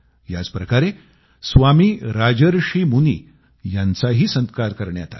याच प्रकारे स्वामी राजर्षि मुनी यांचाही सत्कार करण्यात आला